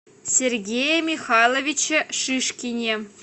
сергее михайловиче шишкине